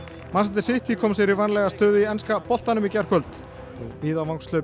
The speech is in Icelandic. City kom sér í vænlega stöðu í enska boltanum í gærkvöld og víðavangshlaup